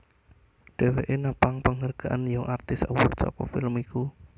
Dheweke napang panghargaan Young Artist award saka film iku